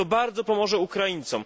To bardzo pomoże Ukraińcom.